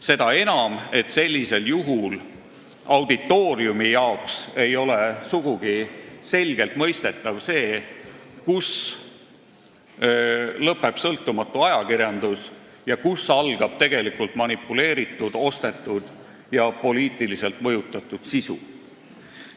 Seda enam, et sellisel juhul auditooriumi jaoks ei ole sugugi selgelt mõistetav see, kus lõpeb sõltumatu ajakirjandus ja kus algab tegelikult manipuleeritud, ostetud ja poliitiliselt mõjutatud sisu.